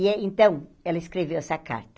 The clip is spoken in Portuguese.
E é, então, ela escreveu essa carta.